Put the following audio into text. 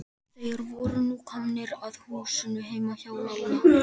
Þeir voru nú komnir að húsinu heima hjá Lalla.